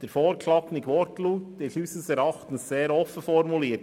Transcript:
Der vorgeschlagene Wortlaut im Gesetzestext ist unseres Erachtens sehr offen formuliert.